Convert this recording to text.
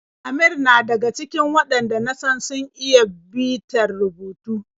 Amir na daga cikin waɗanda na san sun iya bitar rubutu.